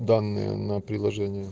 данные на придложение